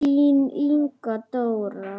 Þín Inga Dóra.